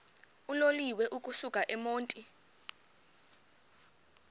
uloliwe ukusuk emontini